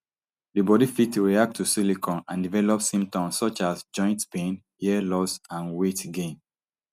di body fit react to silicone and develop symptoms such as joint pain hair loss and weight gain